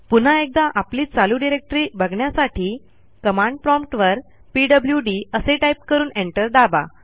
पुन्हा एकदा आपली चालू डिरेक्टरी बघण्यासाठी कमांड प्रॉम्प्ट वर पीडब्ल्यूडी असे टाईप करून एंटर दाबा